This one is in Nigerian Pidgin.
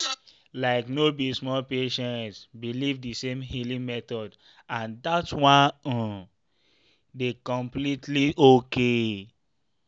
like no be all patients believe the same healing method and that one um dey completely okay.